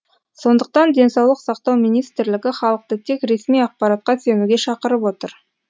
сондықтан денсаулық сақтау министрлігі халықты тек ресми ақпаратқа сенуге шақырып отыр